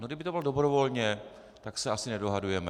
No kdyby to bylo dobrovolně, tak se asi nedohadujeme.